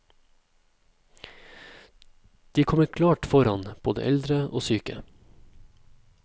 De kommer klart foran både eldre og syke.